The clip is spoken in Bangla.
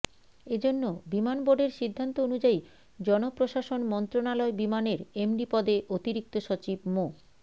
এজন্য বিমান বোর্ডের সিদ্ধান্ত অনুযায়ী জনপ্রশাসন মন্ত্রণালয় বিমানের এমডি পদে অতিরিক্ত সচিব মো